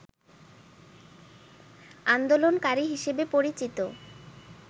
আন্দোলনকারী হিসেবে পরিচিত